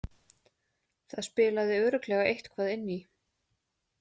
Það spilaði örugglega eitthvað inn í.